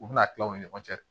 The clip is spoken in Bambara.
U bɛna tila u ni ɲɔgɔn cɛ